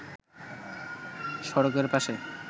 সড়কের পাশে